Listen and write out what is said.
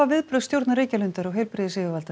viðbrögð stjórnar Reykjalundar og heilbrigðisyfirvalda